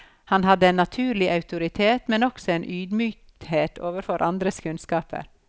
Han hadde en naturlig autoritet, men også en ydmykhet overfor andres kunnskap.